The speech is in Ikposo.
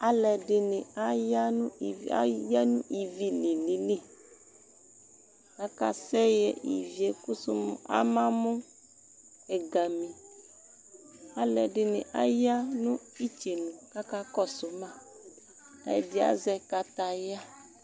Alu ɛdini aya nʋ , ayanʋ ivi li lililiAkasɛɣɛ ivie kʋsu mu amamʋ ɛgamiAlu ɛdini aya nʋ itsenu kakakɔsu maƐdi azɛ kataya